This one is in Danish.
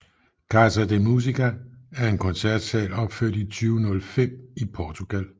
Casa da Música er en koncertsal opført i 2005 i Portugal